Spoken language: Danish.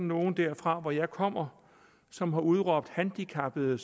nogen derfra hvor jeg kommer som har udråbt handicappede